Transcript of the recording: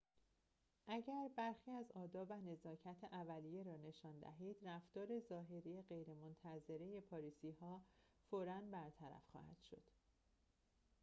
اگر برخی از آداب و نزاکت اولیه را نشان دهید رفتار ظاهری غیرمنتظره پاریسی‌ها فوراً برطرف خواهد شد